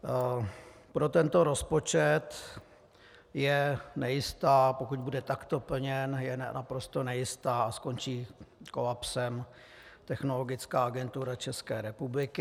Pro tento rozpočet je nejistá, pokud bude takto plněn, je naprosto nejistá a skončí kolapsem Technologická agentura České republiky.